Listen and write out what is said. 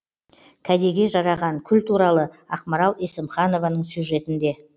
кәдеге жараған күл туралы ақмарал есімханованың сюжетінде